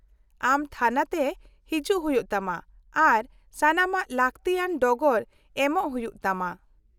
-ᱟᱢ ᱛᱷᱟᱱᱟᱛᱮ ᱦᱤᱡᱩᱜ ᱦᱩᱭᱩᱜ ᱛᱟᱢᱟ ᱟᱨ ᱥᱟᱱᱟᱢ ᱞᱟᱹᱠᱛᱤᱭᱟᱱ ᱰᱚᱜᱚᱨ ᱮᱢᱚᱜ ᱦᱩᱭᱩᱜ ᱛᱟᱢᱟ ᱾